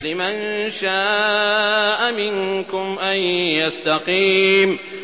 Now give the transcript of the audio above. لِمَن شَاءَ مِنكُمْ أَن يَسْتَقِيمَ